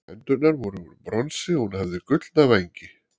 hendurnar voru úr bronsi og hún hafði gullna vængi